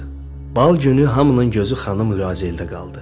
Bal günü hamının gözü xanım Lüazeldə qaldı.